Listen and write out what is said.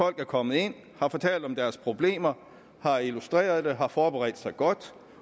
er kommet ind har fortalt om deres problemer har illustreret dem har forberedt sig godt